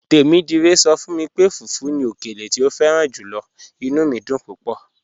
"Tẹmidire sọ fun mi pé fùfù ni ọkèlè tí o fẹ̀ràn júlọ̀, inú mi dún púpọ̀."